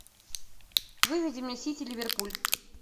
выведи мне сити ливерпуль